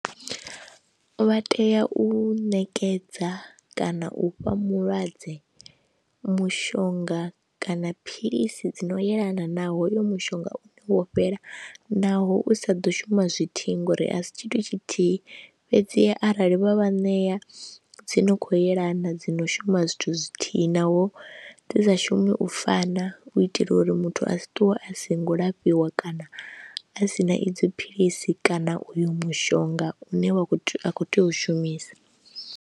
Vha tea u ṋekedza kana u fha mulwadze mushonga kana philisi dzi no yelana na hoyo mushonga wo fhela naho u sa ḓo shuma zwithihi ngori a si tshithu tshithihi fhedziha arali vha vha ṋea dzi no khou yelana, dzi no shuma zwithu zwithihi naho dzi sa shumi u fana u itela uri muthu a si ṱuwe a si ngo lafhiwa kana a si na idzo philisi kana uyo mushonga une wa khou tea u shumisa.